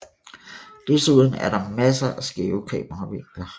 Desuden er der masser af skæve kameravinkler